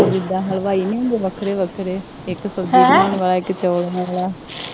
ਉਹ ਜਿਦਾਂ ਹਲਵਾਈ ਨਹੀਂ ਹੁੰਦੇ ਵੱਖਰੇ ਵੱਖਰੇ, ਇੱਕ ਸਬਜ਼ੀ ਬਣਾਉਣ ਵਾਲਾ, ਇੱਕ ਚੌਲ ਬਣਾਉਣ ਵਾਲਾ